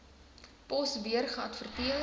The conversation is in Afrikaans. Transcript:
pos weer geadverteer